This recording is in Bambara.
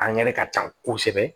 An ŋɛnɛ ka ca kosɛbɛ